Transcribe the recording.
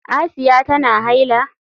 Asiya tana haila?